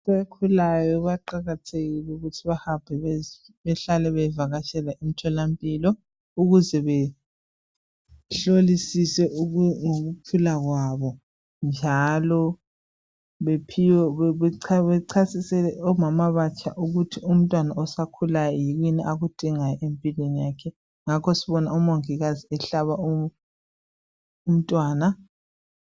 Abakhulayo baqakathekile ukuthi bahambe, bahlale bevakatshela emtholampilo. Ukuze behlolisise ngokukhula kwabo, njalo bephiwe, bechasisele omama abatsha, ukuthi umntwana osakhulayo kuyini akudingayo empilweni yakhe. Ngakho sibona umongikazi ehlaba umntwana.